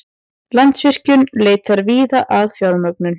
Landsvirkjun leitar víða að fjármögnun